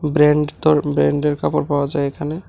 ব্র্যান্ডতর ব্র্যান্ডের কাপড় পাওয়া যায় এখানে।